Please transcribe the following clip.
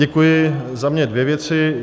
Děkuji, za mě dvě věci.